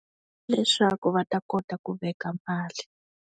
Leswaku va ta kota ku veka mali.